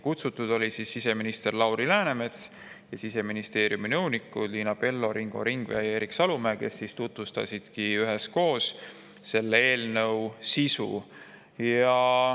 Kutsutud olid siseminister Lauri Läänemets ning Siseministeeriumi nõunikud Liina Pello, Ringo Ringvee ja Erik Salumäe, kes üheskoos tutvustasid selle eelnõu sisu.